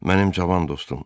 Mənim cavan dostum.